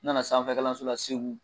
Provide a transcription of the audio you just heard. N nana sanfɛkalanso la Segu